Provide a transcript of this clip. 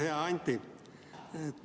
Hea Anti!